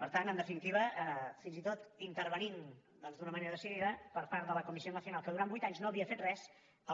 per tant en definitiva fins i tot intervenint doncs d’una manera decidida per part de la comisión nacional que durant vuit anys no havia fet res